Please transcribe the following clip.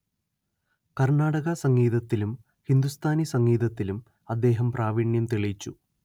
കര്‍ണാടക സംഗീതത്തിലും ഹിന്ദുസ്ഥാനി സംഗീതത്തിലും അദ്ദേഹം പ്രാവീണ്യം തെളിയിച്ചു